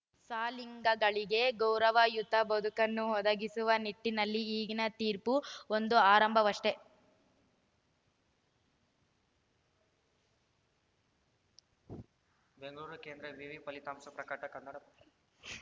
ಸಲಿಂಗಿಗಳಿಗೆ ಗೌರವಯುತ ಬದುಕನ್ನು ಒದಗಿಸುವ ನಿಟ್ಟಿನಲ್ಲಿ ಈಗಿನ ತೀರ್ಪು ಒಂದು ಆರಂಭವಷ್ಟೆ